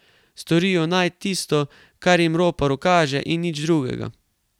Storijo naj tisto, kar jim ropar ukaže in nič drugega.